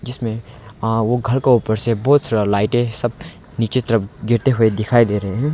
इसमें हां वो घर को ऊपर से बहुत सारा लाइट है सब नीचे तरफ गिरते हुए दिखाई दे रहे हैं।